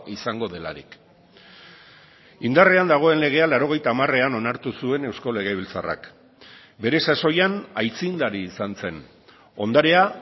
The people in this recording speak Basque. izango delarik indarrean dagoen legea laurogeita hamarean onartu zuen eusko legebiltzarrak bere sasoian aitzindari izan zen ondarea